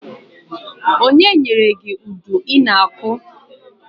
Onye nyere gị udu i na- akụ?